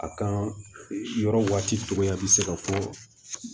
A kan yɔrɔ waati dɔgɔya bɛ se ka fɔ